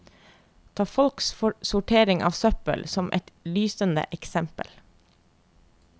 Ta folks sortering av søppel som ett lysende eksempel.